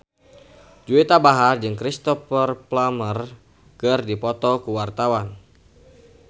Juwita Bahar jeung Cristhoper Plumer keur dipoto ku wartawan